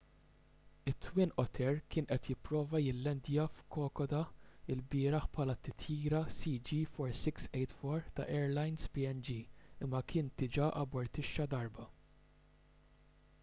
it-twin otter kien qed jipprova jillandja f'kokoda lbieraħ bħala t-titjira cg4684 ta' airlines png imma kien diġà abortixxa darba